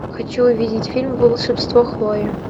хочу увидеть фильм волшебство хлои